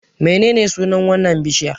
Menene sunan wannan bishiyar?